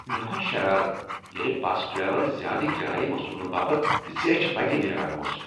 مےٚ کھوٚت شرارتھ ییٚلہ بس ڈریور زیٛادٕ کرایہ وصوٗلنہٕ باپت زیچھہِ وتہ نیران اوس ۔